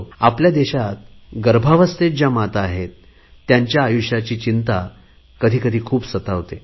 आपल्या देशात गर्भावस्थेत ज्या माता आहेत त्यांच्या आयुष्याची चिंता कधीकधी खूप सतावते